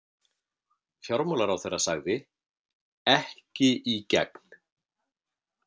Fjármálaráðherra sagði: Ekki í gegn.